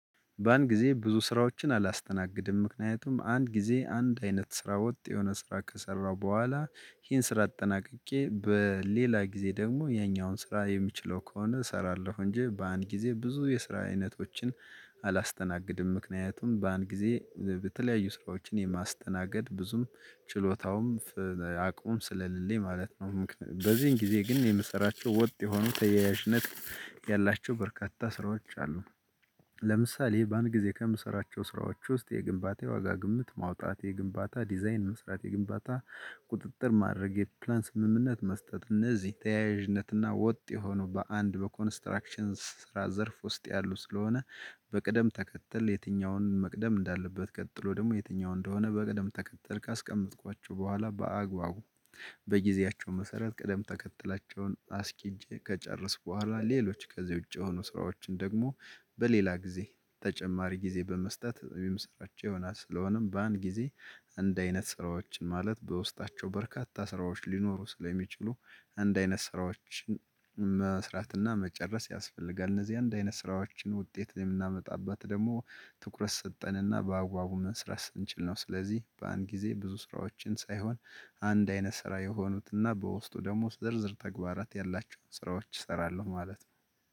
በአንድ ጊዜ ብዙ ስራዎችን አላስተናግድም ምክንያቱም አንድ ጊዜ አንድ አይነት ስራ ወጥ የሆነ ስራ ከሰራው በኋላ ይሄን ስራ አጠናቅቄ በሌላ ጊዜ ደግሞ ይሄኛውን ስራ የምችለው ከሆነ እሰራለሁ እንጂ በአንድ ጊዜ ብዙ የስራ አይነቶችን አላስተናግድም ምክንያቱም በአንድ ጊዜ በተለያዩ ስራዎችን የማስተናገድ ብዙም ችሎታውም አቅሙም ስለሌለኝ ማለት ነው። በዚህን ጊዜ ግን የምሰራቸው ወጥ የሆኑ ተያያዥነት ያላቸው በርካታ ስራዎች አሉ። ለምሳሌ በአንድ ጊዜ ከምሰራቸው ስራዎች ውስጥ የግንባታ ዋጋ ግምት ማውጣት የግንባታ ዲዛይን መስራት የግንባታ ቁጥጥር ማድረግ የፕላን ስምምነት መስጠት እነዚህ ተያያዥነትና ወጥ የሆኑ በአንድ በኮንስትራክሽን ስራ ዘርፍ ውስጥ ያሉ ስለሆነ። በቅደም ተከተል የትኛውን መቅደም እንዳለበት ቀጥሎ ደግሞ የትኛው እንደሆነ በቅደም ተከተል ካስቀመጥኳቸው በኋላ በአግባቡ በጊዜያቸው መሰረት ቅደም ተከተላቸውን አስኪጄ ከጨረስኩ በኋላ ሌሎች ከዚህ ውጪ የሆኑ ስራዎችን ደግሞ በሌላ ጊዜ ተጨማሪ ጊዜ በመስጠት የሚሰራቸው ይሆናል። ስለሆነም በአንድ ጊዜ አንድ አይነት ስራዎችን ማለት በውስጣቸው በርካታ ስራዎች ሊኖሩ ስለሚችሉ አንድ አይነት ስራዎችን መስራት እና መጨረስ ያስፈልጋል እነዚህ አንድ አይነት ስራዎችን ውጤት የምናመጣባት ደግሞ ትኩረት ሰጠንና በአግባቡ መስራት ስንችል ነው። ስለዚህ በአንድ ጊዜ ብዙ ስራዎችን ሳይሆን አንድ አይነት ስራ የሆኑት እና በውስጡ ደግሞ ዝርዝር ተግባራት ያላችሁን ስራዎች እሰራለሁ ማለት ነው።